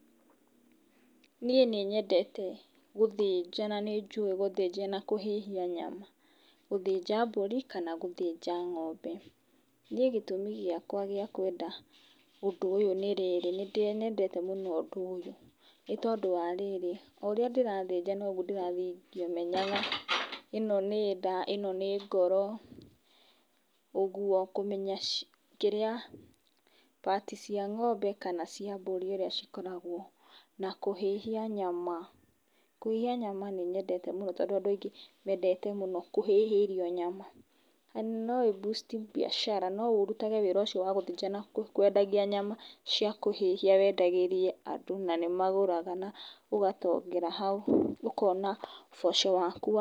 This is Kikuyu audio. Niĩ nĩ nyendete gũthĩnja na nĩ njũĩ gũthĩnja na kũhĩhia nyama. Gũthĩnja mbũri kana gũthĩnja ng'ombe. Niĩ gĩtũmi gĩakwa gĩa kwenda ũndũ ũyũ nĩ rĩrĩ, nĩ nyendete mũno ũndũ ũyũ nĩ tondũ wa rĩrĩ, o ũria ndĩrathĩnja noguo ndirathiĩ ngĩmenyaga ,ĩno nĩ nda, ĩno nĩ ngoro ũguo kũmenya kĩrĩa part cia ng'ombe kana cia mbũri ũria cikoragwo na kũhĩhia nyama, kũhĩhia nyama nĩ nyendete mũno tondũ andũ aingĩ mendete kũhĩhĩrio nyama, amu no ũbucti biacara no ũrutage wĩra ũcio wa gũthĩnja na kwendia nyama cia kũhĩhia wendagĩrie andu na nĩ maguraga na ugatongera hau ũkona ũboco waku wa.